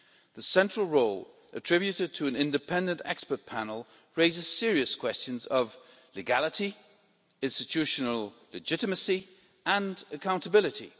The central role attributed to an independent expert panel raises serious questions of legality, institutional legitimacy and accountability.